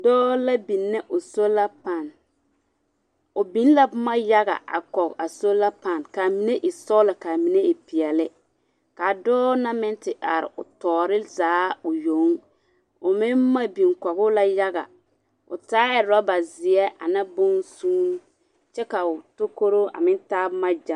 Dͻͻ la bini o sola paan. O biŋ la boma yaga a kͻge a sola paan ka a mine e sͻgelͻ ka a mine e peԑle. Kaa dͻͻ na meŋ te are o tͻͻre zaa o yoŋ. O meŋ boma biŋ kͻge la yaga. O taa orͻba zeԑ ane bonsuun kyԑ ka o takoroo a meŋ taa boma gya.